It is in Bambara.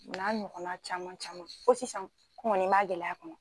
O n'a ɲɔgɔnna caman caman fo sisan m'a gɛlɛya kɔnɔ.